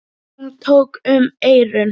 Hún tók um eyrun.